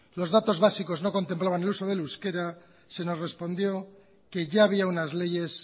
los datos básicos no contemplaban el uso del euskera se nos respondió que ya había unas leyes